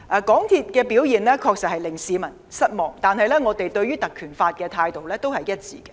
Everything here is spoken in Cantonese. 港鐵公司的表現確實令市民失望，但我們對於引用《條例》的立場是一致的。